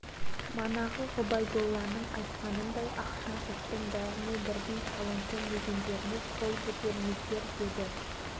бұл туралы көп сөйленіп болды ғой енді мен қазір мәселені дауысқа саламын